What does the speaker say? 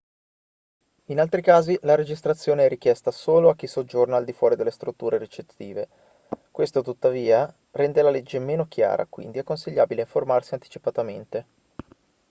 in altri casi la registrazione è richiesta solo a chi soggiorna al di fuori delle strutture ricettive questo tuttavia rende la legge meno chiara quindi è consigliabile informarsi anticipatamente